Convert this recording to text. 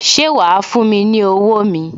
Ṣé wa fún mi ní owó mi?